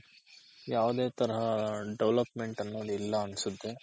ಯಾವ್ದೆ ತರಹ development ಅನ್ನೋದ್ ಇಲ್ಲ ಅನ್ಸುತ್ತೆ